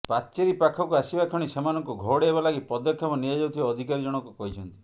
ପାଚେରି ପାଖକୁ ଆସିବା କ୍ଷଣି ସେମାନଙ୍କୁ ଘଉଡ଼ାଇବା ଲାଗି ପଦକ୍ଷେପ ନିଆଯାଉଥିବା ଅଧିକାରୀ ଜଣକ କହିଛନ୍ତି